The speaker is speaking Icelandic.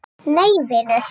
Nei vinur.